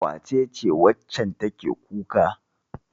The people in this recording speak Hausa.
Wace ce waccan take kuka?